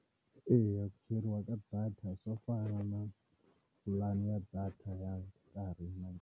Eya ku cheriwa ka data swo fana na pulani ya data ya nkarhinyana.